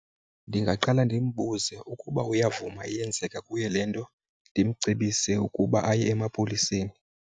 Ndingaqala ndimbuze ukuba uyavuma yenzeka kuye le nto, ndimcebise ukuba aye emapoliseni.